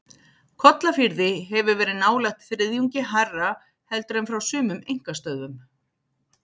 Kollafirði hefur verið nálægt þriðjungi hærra heldur en frá sumum einkastöðvum.